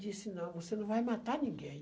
Disse, não, você não vai matar ninguém.